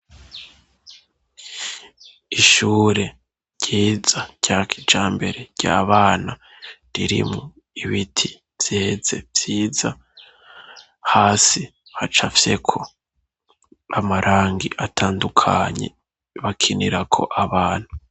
Ishure ryiza rya kijambere ry'abana riri mu ibiti vyeze vyiza hasi hacafyeko amarangi atandukanye bakinirako abana.